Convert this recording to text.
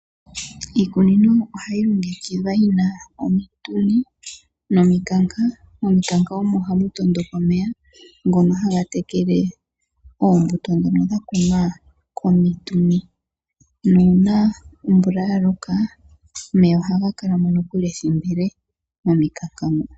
Iikunino ohayi longekidhwa yina omituni nomikanka, momikanka omo hamu tondoka omeya ngoka haga tekele oombuto dhoka dha kunwa komituni. Nuuna omvula ya loka omeya ohaga kalamo nokuli ethimbo ele momikanka moka.